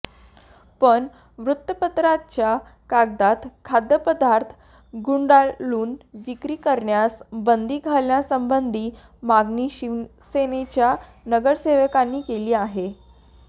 पण वृत्तपत्राच्या कागदात खाद्यपदार्थ गुंडाळून विक्री करण्यास बंदी घालण्यासंबंधी मागणी शिवसेनेच्या नगरसेवकाने केली आहे